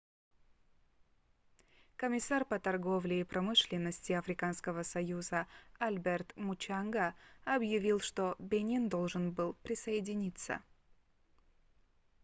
комиссар по торговле и промышленности африканского союза альберт мучанга объявил что бенин должен был присоединиться